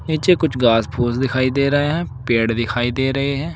नीचे कुछ घास फूस दिखाई दे रहे हैं पेड़ दिखाई दे रहे हैं।